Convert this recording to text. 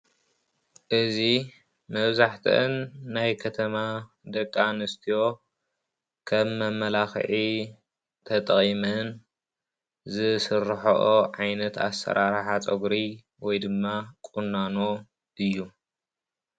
እዚ መብዛሕትአን ናይ ከተማ ደቂ ኣንስትዮ ከም መመላክዒ ተጠቂመን ዝስረሐኦ ዓይነት ኣሰራርሓ ፀጉሪ ወይድማ ቁናኖ እዩ።